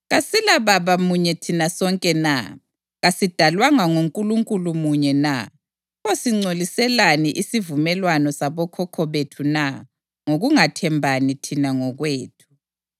KasilaBaba munye thina sonke na? Kasidalwanga nguNkulunkulu munye na? Pho singcoliselani isivumelwano sabokhokho bethu na ngokungathembani thina ngokwethu?